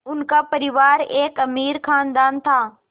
उनका परिवार एक अमीर ख़ानदान था